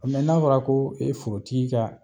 n'a fɔra ko forotigi ka